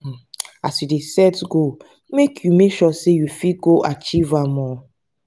as you dey set goal make you make sure sey you fit go achieve am.